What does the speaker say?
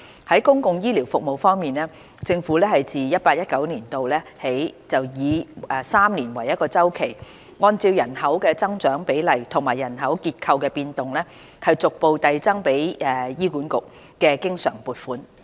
在公共醫療服務方面，政府自 2018-2019 年度起以每3年為一周期，按照人口增長比例和人口結構的變動，逐步遞增給醫院管理局的經常撥款。